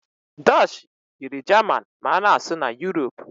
Dutchi yiri jaman ma ana-asụ na Europe.